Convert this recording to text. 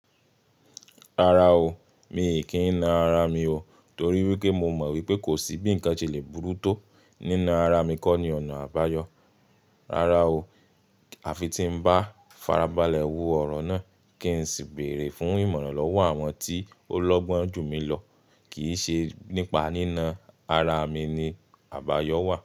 Rárá o, mi kì í na ara mi o torí wípé mo mọ̀ wípé kò sí bí ǹkan ṣe le burú tó nína ara mi kó ni ọ̀nà àbáyọ. Rárá o, àfi tí ń bá farabalẹ̀ wo ọ̀rọ̀ náà kí ń sì béèrè fún ìmọ̀ràn lọ́wọ́ àwọn tí ó lọ́gbọ́n jù mí lọ, kì í ṣe nípa nína ara mi ni àbáyọ wà.